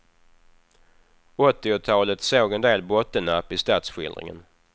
Åttiotalet såg en del bottennapp i stadsskildringen.